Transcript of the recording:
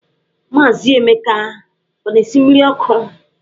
Maazị Emeka ọ na-esi mmiri ọkụ?